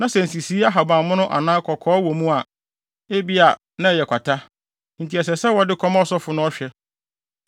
na sɛ nsisii ahabammono anaa kɔkɔɔ wɔ mu a, ebia na ɛyɛ kwata, enti ɛsɛ sɛ wɔde kɔma ɔsɔfo na ɔhwɛ.